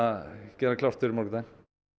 gera klárt fyrir morgundaginn